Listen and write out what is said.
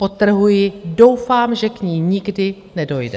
Podtrhuji - doufám, že k ní nikdy nedojde.